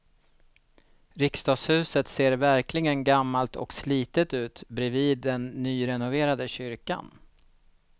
Riksdagshuset ser verkligen gammalt och slitet ut bredvid den nyrenoverade kyrkan.